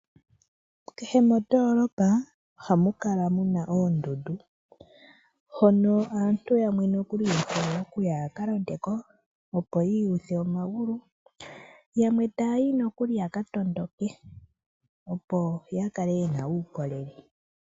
Kehe mondoolopa ohamu kala mu na oondundu, hono aantu yamwe nokuli yehole okuya yaka londe ko opo yiiyuthe omagulu. Yamwe taya yi nokuli yaka tondoke, opo ya kale ye na uukolele.